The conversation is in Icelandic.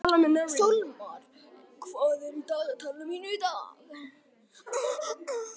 Sólmar, hvað er á dagatalinu mínu í dag?